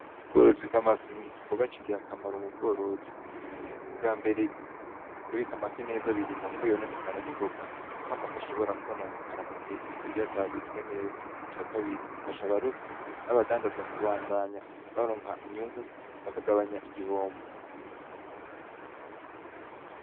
Ubworozi bw'amafi ni igikorwa c'ingirakamaro mu bworozi, ubwambere kubika amafi neza birinda ko yononekara ningoga kuko amafi ashobora kwononekara mugihe gito iyo atabitswe neza, icakabiri bifasha abarovyi n'abadandaza kubandanya baronka inyungu bakagabanya igihombo